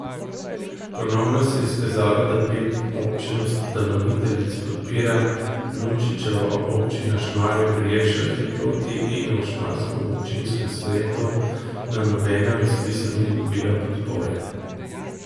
Ponovno se je izkazalo, da pet občin ustanoviteljic podpira Nunčičevo, občina Šmarje pri Jelšah je proti in v šmarskem občinskem svetu na nobenem razpisu ni dobila podpore.